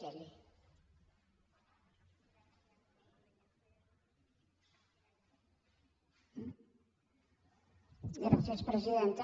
gràcies presidenta